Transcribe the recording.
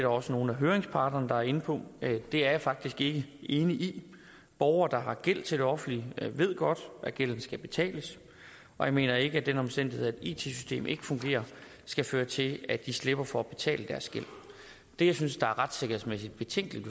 også nogle af høringsparterne der er inde på det er jeg faktisk ikke enig i borgere der har gæld til det offentlige ved godt at gælden skal betales og jeg mener ikke at den omstændighed at et it system ikke fungerer skal føre til at de slipper for at betale deres gæld det jeg synes er retssikkerhedsmæssigt betænkeligt